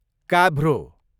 काभ्रो